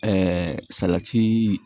salati